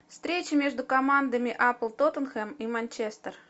встреча между командами апл тоттенхэм и манчестер